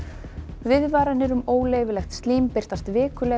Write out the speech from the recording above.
viðvaranir um óleyfilegt slím birtast vikulega í